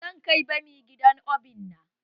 Zan kai bami gidan obina.